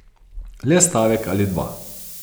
Le stavek ali dva.